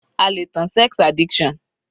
A le tan sex addiction.